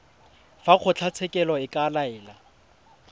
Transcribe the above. fa kgotlatshekelo e ka laela